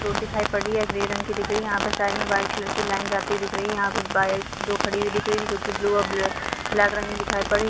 Road दिखाई पड़ रही है ग्रे रंग की दिख रही है यहाँ पे साइड वाइट कलर की लाइन जाती दिख रही है यहाँ पे बाइक दो खड़ी हुई दिख रही है जो की ब्लू और ब्लैक रंग में दिखाई पड़ रही है।